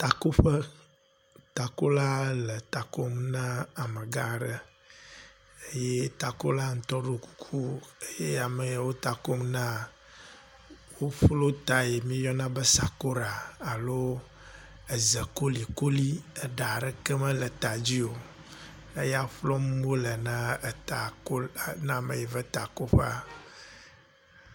Takoƒe, takola le ta kom na amegã aɖe. eye takola ŋutɔ ɖo kuku, ye ame ya wo ta kom na, woƒlɔ ta yi woyɔna be sakora alo eze kolikoli, eɖa aɖeke mele ta dzi o. eya ƒlɔm wole ne na me ya va etakoƒea.